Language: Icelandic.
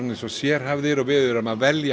sérhæfðir og við veljum